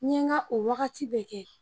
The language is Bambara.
N ye n ka o wagati bɛɛ kɛ